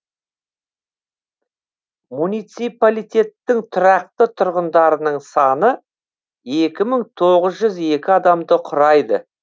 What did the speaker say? муниципалитеттің тұрақты тұрғындарының саны екі мың тоғыз жүз екі адамды құрайды